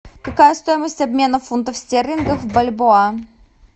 какая стоимость обмена фунтов стерлингов в бальбоа